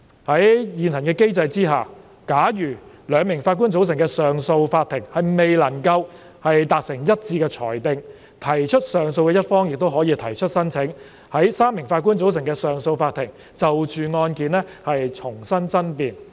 在現行機制下，假如由兩名法官組成的上訴法庭未能達成一致的裁定，提出上訴的一方亦可以提出申請，在由3名法官組成的上訴法庭就着案件重新爭辯。